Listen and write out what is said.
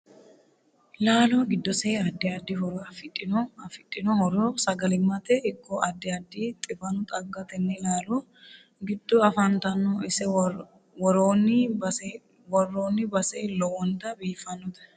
Laalo giddose addi addi horo afidhinno afidhinno horo sagalimatte ikko addi addi xiwanu xaggno tenne laalo giddo afantanno ise worooni base lowonta biifanote